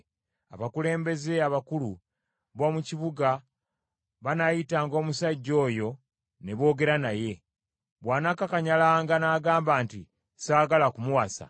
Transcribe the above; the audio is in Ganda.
Abakulembeze abakulu b’omu kibuga banaayitanga omusajja oyo ne boogera naye. Bw’anaakakanyalanga n’agamba nti, “Saagala kumuwasa,”